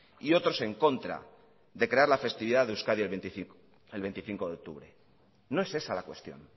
y otros en contra de crear la festividad de euskadi el veinticinco de octubre no es esa la cuestión